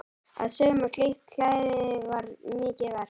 Að sauma slíkt klæði var mikið verk.